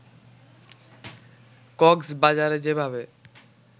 কক্সবাজারে যেভাবে